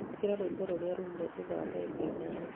ĩkira rwĩmbo rũmĩrĩire thutha wa ndagĩka ithano